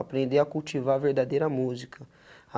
Aprender a cultivar a verdadeira música.